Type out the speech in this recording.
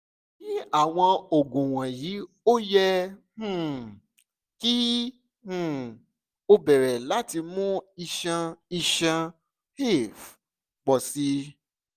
ni awọn oogun wọnyi o yẹ um ki um o bẹrẹ lati mu iṣan iṣan (ef) pọ si